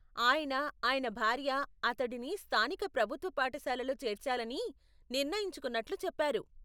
ఆయన, ఆయన భార్య అతడిని స్థానిక ప్రభుత్వ పాఠశాలలో చేర్చాలని నిర్ణయించుకున్నట్లు చెప్పారు.